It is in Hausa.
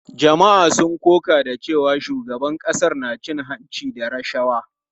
Jama’a sun koka da cewa shugaban ƙasar na cin hanci da rashawa.